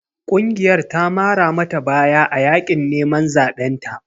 Ƙungiyarta ta mara mata baya a yaƙin neman zaɓen ta.